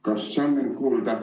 Kas on mind kuulda?